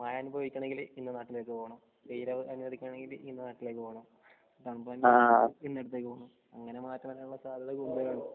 അതായത് മഴ അനുഭവിക്കണമെങ്കിൽ ഇന്ന നാട്ടിലേക്ക് പോണം വെയിൽ അനുഭവിക്കണമെങ്കിൽ ഇന്ന നാട്ടിലേക്ക് പോണം. അങ്ങനെ മാറി മാറി വരാനുള്ള സാധ്യത കൂടുതലാണ്